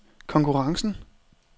konkurrencen